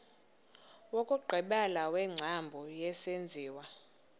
wokugqibela wengcambu yesenziwa